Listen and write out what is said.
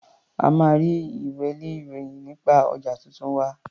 O máa rí ilwé-ìròyì nípa ọjà tuntun wa.